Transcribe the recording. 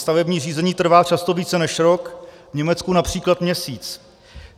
Stavební řízení trvá často více než rok, v Německu například měsíc.